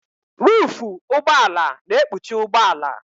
Ruufu ụgbọala na-ekpuchi ụgbọala.